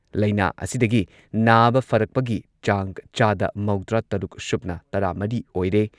ꯂꯩꯅꯥꯥ ꯑꯁꯤꯗꯒꯤ ꯅꯥꯕ ꯐꯔꯛꯄꯒꯤ ꯆꯥꯡ ꯆꯥꯗ ꯃꯧꯗ꯭ꯔꯥꯇꯔꯨꯛ ꯁꯨꯞꯅ ꯇꯔꯥꯃꯔꯤ ꯑꯣꯏꯔꯦ꯫